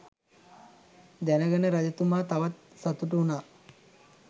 දැනගෙන රජතුමා තවත් සතුටු වුනා.